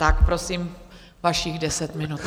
Tak prosím, vašich deset minut.